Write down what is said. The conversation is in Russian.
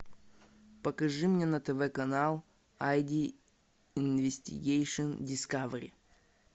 покажи мне на тв канал айди инвестигейшн дискавери